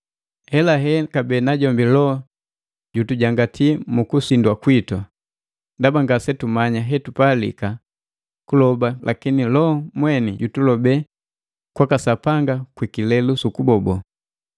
Helahe kabee najombi Loho jutujangati muku sindwa kwitu. Ndaba ngasetumanya hetupalika kuloba lakini Loho mweni jutulobe kwaka Sapanga kwikilelu sukubobo.